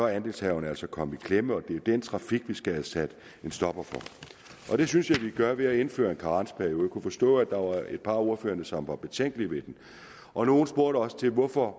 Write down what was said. er andelshaverne altså kommet i klemme og det er den trafik vi skal have sat en stopper for det synes jeg vi gør ved at indføre en karensperiode jeg kunne forstå at der var et par af ordførerne som var betænkelige ved den og nogle spurgte også til hvorfor